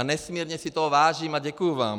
A nesmírně si toho vážím a děkuji vám.